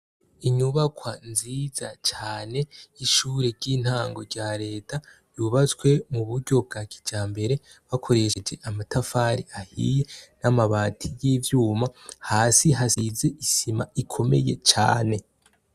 Inyubakwa nziza cane 'ishure ry'intango rya leta yubatswe mu buryo bwa kija mbere bakoresheje amatafari ahiye n'amabati y'ivyuma hasi hasize isima ikomeye cane.